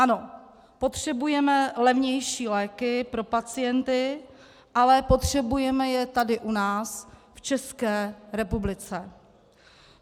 Ano, potřebujeme levnější léky pro pacienty, ale potřebujeme je tady u nás v České republice.